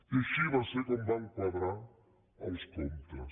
i així va ser com van quadrar els comptes